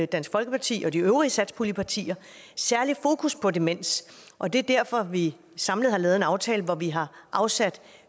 dansk folkeparti og de øvrige satspuljepartier særlig fokus på demens og det er derfor vi samlet har lavet en aftale hvor vi har afsat